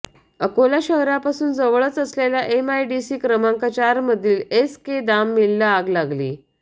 अकोला शहरापासून जवळच असलेल्या एमआयडीसी क्रमांक चारमधील एस के दाम मिलला आग लागली